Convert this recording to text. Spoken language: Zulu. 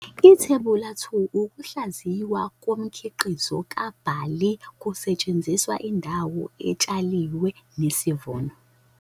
Ithebula 2- Ukuhlaziywa komkhiqizo kabhali kusetshenziswa indawo etshaliwe nesivuno.